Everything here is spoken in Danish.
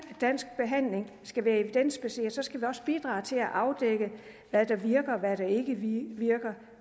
dansk behandling skal være evidensbaseret skal vi også bidrage til at afdække hvad der virker og hvad der ikke virker